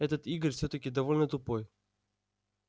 этот игорь всё-таки довольно тупой